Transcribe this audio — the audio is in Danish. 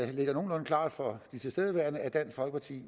det ligger nogenlunde klart for de tilstedeværende at dansk folkeparti